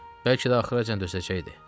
Bəlkə də axıracan dözəcəkdi.